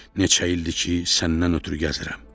Neçə ildir ki, səndən ötrü gəzirəm.